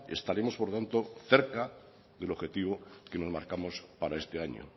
estaremos por tanto cerca del objetivo que nos marcamos para este año